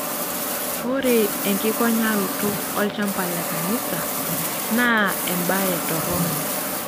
Ore enkikonyaroto olchampa le kanisa naa embaye toronok.